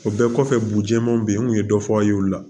O bɛɛ kɔfɛ bojiman be yen n kun ye dɔ fɔ aw ye olu la